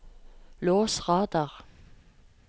lås radar